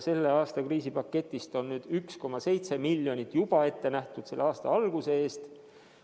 Selle aasta kriisipaketist on juba 1,7 miljonit eurot ette nähtud selle aasta alguse eest.